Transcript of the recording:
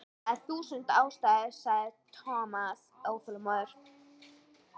Það eru þúsund ástæður sagði Thomas óþolinmóður.